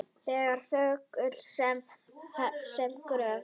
Ég er þögull sem gröfin.